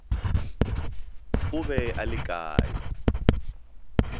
o be a le kae